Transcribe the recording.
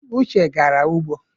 Uche gara ugbo.